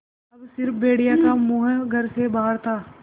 अब स़िर्फ भेड़िए का मुँह घर से बाहर था